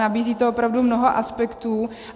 Nabízí to opravdu mnoho aspektů